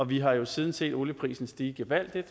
vi har siden set olieprisen stige gevaldigt